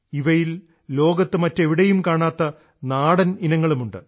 ഇവയിൽ ലോകത്ത് മറ്റെവിടേയും കാണാത്ത നാടൻ ഇനങ്ങളുമുണ്ട്